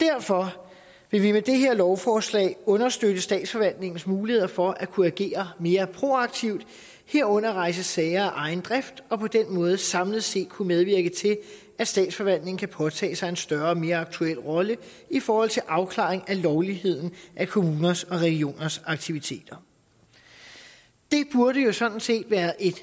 derfor vil vi med det her lovforslag understøtte statsforvaltningens muligheder for at kunne agere mere proaktivt herunder rejse sager af egen drift og på den måde samlet set kunne medvirke til at statsforvaltningen kan påtage sig en større og mere aktuel rolle i forhold til afklaring af lovligheden af kommuners og regioners aktiviteter det burde jo sådan set være et